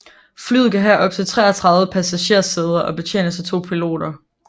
Flyet kan have op til 33 passagersæder og betjenes af 2 piloter